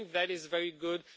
we think that is very good